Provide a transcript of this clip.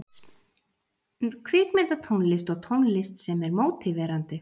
Kvikmyndatónlist og tónlist sem er mótiverandi.